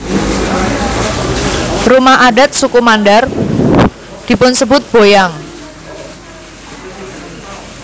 Rumah adat suku Mandar dipunsebut boyang